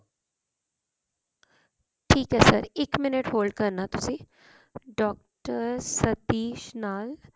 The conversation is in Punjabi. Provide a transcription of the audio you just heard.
ਠੀਕ ਹੈ sir ਇੱਕ ਮਿੰਟ hold ਕਰਨਾ ਤੁਸੀਂ doctor ਸਤੀਸ਼ ਨਾਲ